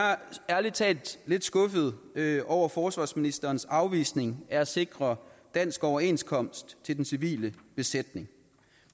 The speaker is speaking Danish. ærlig talt lidt skuffede over forsvarsministerens afvisning af at sikre dansk overenskomst til den civile besætning